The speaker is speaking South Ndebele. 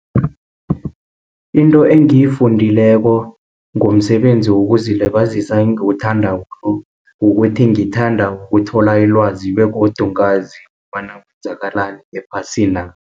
Into engiyifundileko, ngomsebenzi wokuzilibazisa engiwuthandako, kukuthi ngithanda ukuthola ilwazi, begodu ngazi kobana kwenzakalani ephasina.